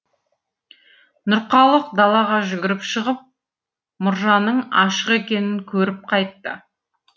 нұрқалық далаға жүгіріп шығып мұржаның ашық екенін көріп қайтты